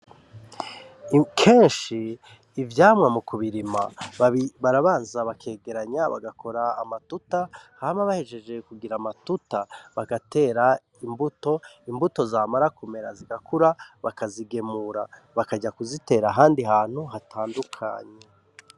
Kenshi ivyamwa mu kubirima barabanza bakegeranya bagakora amatuta, hama bahejeje kugira amatuta bagatera imbuto, imbuto zamara kumera zigakura bakazigemura bakaja kuzitera ahandi hantu hatandukanye.